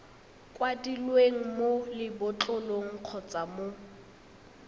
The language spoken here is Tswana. kwadilweng mo lebotlolong kgotsa mo